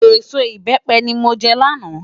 Ésó ibèpè ni mó jè làná